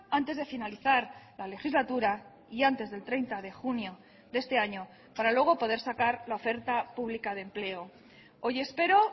antes de finalizar la legislatura y antes del treinta de junio de este año para luego poder sacar la oferta pública de empleo hoy espero